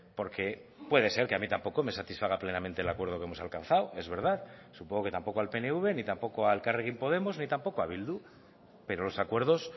porque puede ser que a mí tampoco me satisfaga plenamente el acuerdo que hemos alcanzado es verdad supongo que tampoco al pnv ni tampoco a elkarrekin podemos ni tampoco a bildu pero los acuerdos